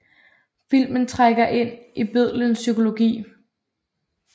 Filmen trænger ind i bødlens psykologi